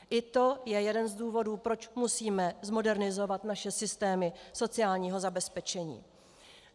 I to je jeden z důvodů, proč musíme zmodernizovat naše systémy sociálního zabezpečení.